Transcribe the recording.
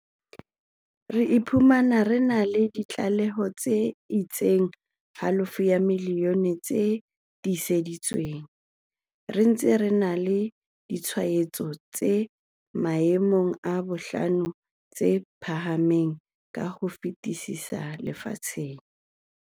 Re iphumana re na le di tlaleho tse etsang halofo ya milione tse tiiseditsweng, re ntse re na le ditshwaetso tse maemong a bohlano tse phahameng ka ho fetisisa lefatsheng.